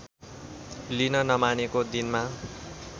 लिन नमानेको दिनमा